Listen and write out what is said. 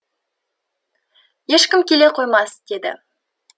ешкім келе қоймас деді